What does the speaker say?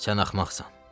Sən axmaqsan.